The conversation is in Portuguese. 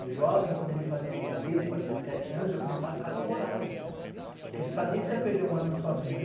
O jovem, quando ele fazia dezesseis para dezessete anos, já começava a ficar apavorado, porque você sabia que ia perder um ano na sua vida.